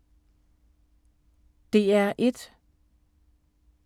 DR1